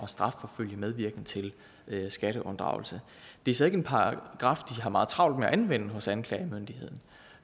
strafforfølge medvirken til skatteunddragelse det er så ikke en paragraf de har meget travlt med at anvende hos anklagemyndigheden